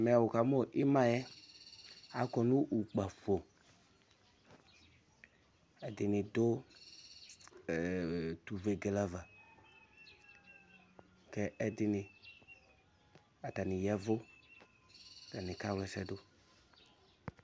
Ɛmɛ wukamu ima yɛ akɔ nʋ ukpǝfo Ɛdɩnɩ du utuvegele ava, kʋ ɛdɩnɩ, atani yavʋ kʋ atani kawla ɛsɛ du